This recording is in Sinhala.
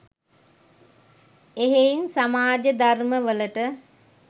එහෙයින් සමාජ ධර්ම වලට